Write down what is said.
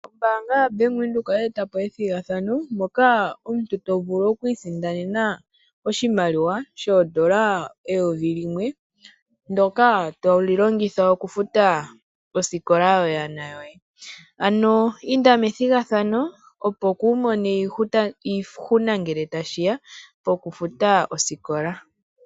Ombanga yaBank Windhoek oyeetapo ethigathano moka omuntu to vulu okwisindanena oshimaliwa shoondola eyovi limwe, ndyoka tolilongitha okufuta osikola yoyana yoye. Ano inda methigathano opo kuumone iihuna ngele tashiya poku futa osikola.